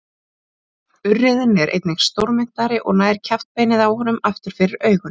Urriðinn er einnig stórmynntari og nær kjaftbeinið á honum aftur fyrir augun.